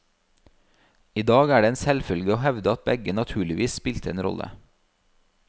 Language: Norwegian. I dag er det en selvfølge å hevde at begge naturligvis spilte en rolle.